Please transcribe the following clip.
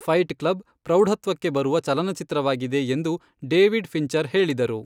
Fight Club ಪ್ರೌಢತ್ವಕ್ಕೆ ಬರುವ ಚಲನಚಿತ್ರವಾಗಿದೆ ಎಂದು ಡೇವಿಡ್ ಫ಼ಿಂಚರ್ ಹೇಳಿದರು.